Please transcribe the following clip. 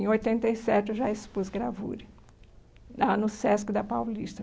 Em oitenta e sete, eu já expus gravura, lá no Sesc da Paulista.